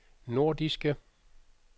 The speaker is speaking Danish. nordiske